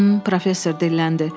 Hmm, professor dilləndi.